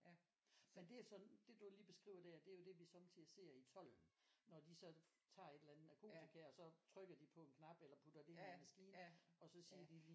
Ja men det er sådan det du lige beskriver der det er jo det vi sommetider ser i tolden når de så tager et eller andet narkotika og så trykker de på en knap eller putter det i en maskine og så siger de lige